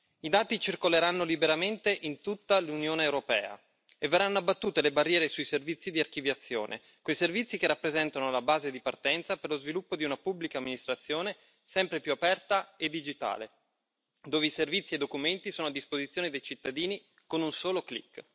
I dati circoleranno liberamente in tutta l'Unione europea e verranno abbattute le barriere sui servizi di archiviazione, quei servizi che rappresentano la base di partenza per lo sviluppo di una pubblica amministrazione sempre più aperta e digitale, dove i servizi e i documenti sono a disposizione dei cittadini con un solo click.